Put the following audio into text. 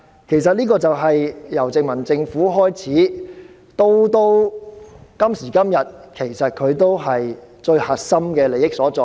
這情況由殖民政府開始，直到今時今日，仍是核心利益所在。